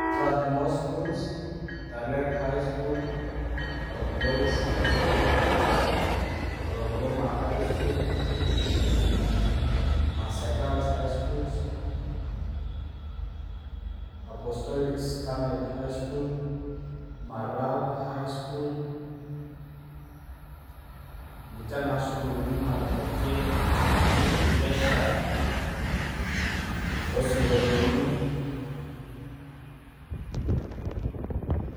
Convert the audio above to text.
Strathmore schools, talek highschool, narok boys, high school, olulunga highschool, maasai girls high school, marlal highschool, ,ninche naa isukulini naitabaitie, enkesha oosinkolioni